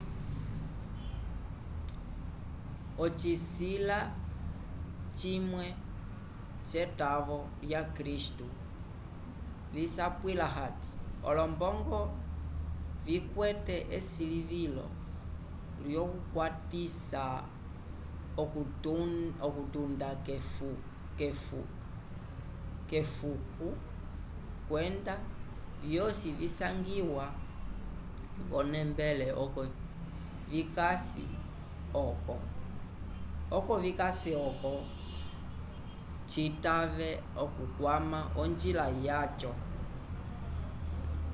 ocisila cimwe c'etavo lya kristu lisapwila hati olombongo ikwete esilivilo lyokukwatisa okutunda k'efuko kwenda vyosi visangiwa v'onembele oko vikasi oco citave okukwama onjila yaco